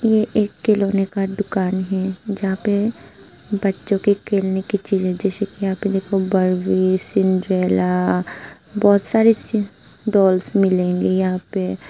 ये एक खिलोने का दुकान हैं जहाँ पे बच्चों के खेलने की चीजे जैसे कि बबलू सिन्दूरेला बहुत सारी गर्ल्स डॉल्स मिलेंगे जहाँ पे।